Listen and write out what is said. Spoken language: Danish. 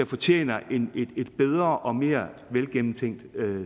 fortjener et bedre og mere velgennemtænkt